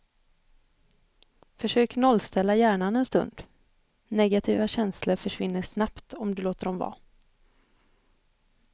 Försök nollställa hjärnan en stund, negativa känslor försvinner snabbt om du låter dem vara.